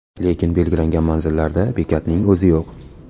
Lekin belgilangan manzillarda bekatning o‘zi yo‘q.